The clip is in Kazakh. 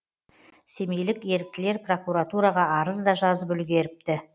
семейлік еріктілер прокуратураға арыз да жазып үлгеріпті